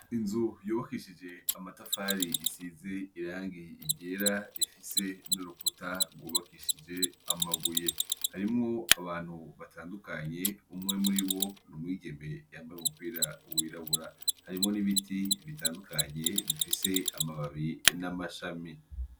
Inzu yubakishij' amatafar' isiz' irang' iryer' ifise n'uruhome rwubakishij' amabuye, imbere harimw' abantu batandukanye, umwe muribo n'umwigeme yambay' umupira wirabura, harimwo n'ibiti bitandukanye, bifis' amababi n'amashami, imbere yaho habonek'izind' inzu.